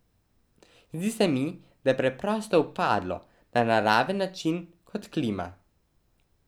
Zdi se mi, da je preprosto upadlo, na naraven način, kot klima.